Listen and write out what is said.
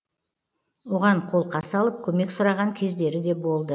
оған қолқа салып көмек сұраған кездері де болды